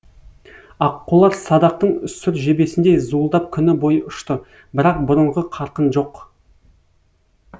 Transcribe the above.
аққулар садақтың сүр жебесіндей зуылдап күні бойы ұшты бірақ бұрынғы қарқын жоқ